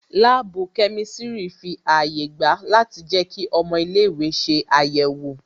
Láàbù kẹ́mísírì fi àyè gba a láti jẹ kí ọmọ ilé ìwé ṣe àyẹ̀wò